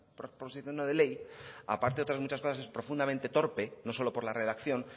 proposición no de ley aparte de otras muchas cosas es profundamente torpe no solo por la redacción